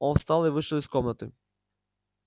он встал и вышел из комнаты